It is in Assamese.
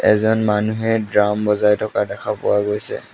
এজন মানুহে ড্ৰাম বজাই থকা দেখা পোৱা গৈছে।